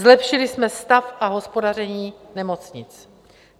Zlepšili jsme stav a hospodaření nemocnic.